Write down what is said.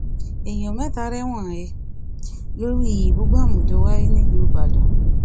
èèyàn mẹta rẹwọn he lórí ìbúgbámú tó wáyé nílù ìbàdàn